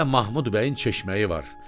Sizdə Mahmud bəyin çeşməyi var.